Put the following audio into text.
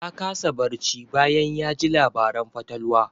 Ya kasa barci bayan ya ji labaran fatalwa.